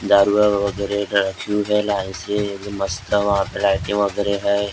मस्त है वहाँ पे लाईटें वगैरह हैं।